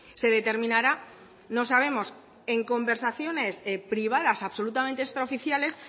se determinará no sabemos en conversaciones privadas absolutamente extraoficiales